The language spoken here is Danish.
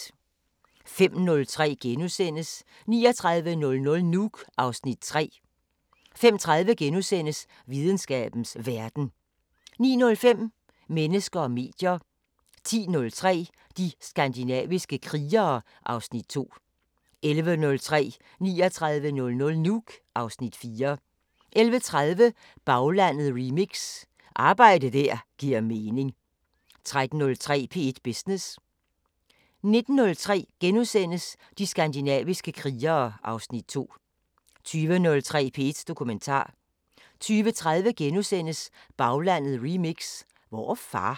05:03: 3900 Nuuk (Afs. 3)* 05:30: Videnskabens Verden * 09:05: Mennesker og medier 10:03: De skandinaviske krigere (Afs. 2) 11:03: 3900 Nuuk (Afs. 4) 11:30: Baglandet remix: Arbejde der giver mening 13:03: P1 Business 19:03: De skandinaviske krigere (Afs. 2)* 20:03: P1 Dokumentar 20:30: Baglandet Remix: Hvor er far? *